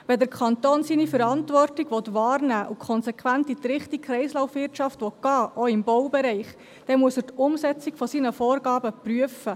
Wenn der Kanton seine Verantwortung wahrnehmen und konsequent in Richtung einer Kreislaufwirtschaft gehen will, auch im Baubereich, muss er die Umsetzung seiner Vorgaben prüfen.